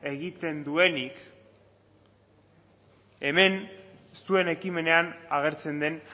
egiten duenik hemen zuen ekimenean agertzen den